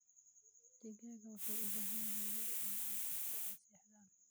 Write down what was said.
Digaagga waxay u baahan yihiin meel ammaan ah oo ay seexdaan.